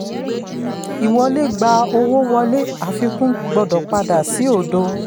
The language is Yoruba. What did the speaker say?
ìwọlé gba owó wọlé; àfikún gbọdọ̀ padà sí òdo.